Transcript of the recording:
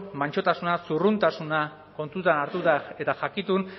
mantsotasuna zurruntasuna kontutan hartuta eta jakitun